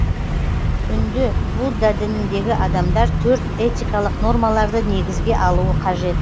үнді будда дініндегі адамдар төрт этикалық нормаларды негізге алуы қажет